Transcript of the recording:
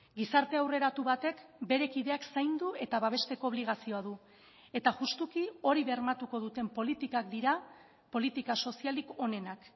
gizarte aurreratu batek bere kideak zaindu eta babesteko obligazioa du eta justuki hori bermatuko duten politikak dira politika sozialik onenak